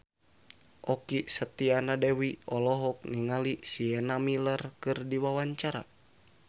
Okky Setiana Dewi olohok ningali Sienna Miller keur diwawancara